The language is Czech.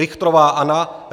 Richtrová Anna